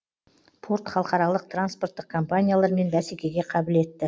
порт халықаралық транспорттық компаниялармен бәсекеге қабілетті